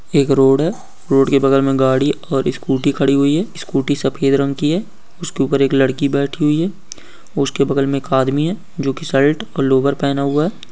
एक रोड़ है रोड़ के बगल में गाड़ी और स्कूटी खड़ी हुई है स्कूटी सफ़ेद रंग की है उसके ऊपर एक लड़की बैठी हुई हैं उसके बगल में एक आदमी हैं जो की शर्ट और लोवर पहना हुए है।